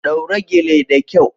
Daura gele da kyau.